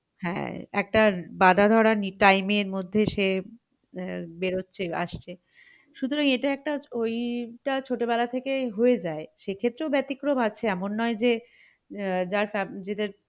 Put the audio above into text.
হ্যাঁ একটা বাঁধা ধরা time এর মধ্যে সে আহ বেরোচ্ছে আসছে সতুরাং এটা একটা ওই টা ছোট বেলা থেকে হয়ে যায় সেক্ষেত্রেও বেতিক্রম আছে এমন নেই যে আহ যার